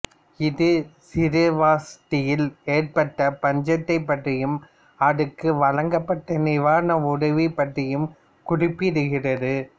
இது சிராவஸ்தியில் ஏற்பட்ட பஞ்சத்தைப் பற்றியும் அதற்கு வழங்கப்பட்ட நிவாரண உதவி பற்றியும் குறிப்பிடுகிறது